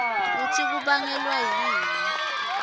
kutsi kubangelwa yini